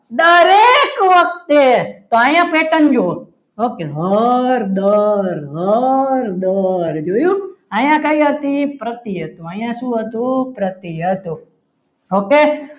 દરેક વખતે તો અહીંયા pattern જોવો okay હર હર જોયુ અહીંયા કઈ હતી પ્રત્યેક અહીંયા શું હતું પ્રતિ હતો okay